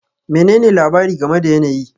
Menene labari game da yanayi?